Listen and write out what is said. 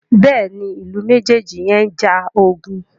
Béèni Ilú mejeji yén njà ogun.